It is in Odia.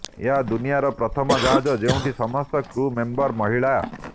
ଏହା ଦୁନିଆର ପ୍ରଥମ ଜାହାଜ ଯେଉଁଠି ସମସ୍ତ କ୍ରୁ ମେମ୍ବର ମହିଳା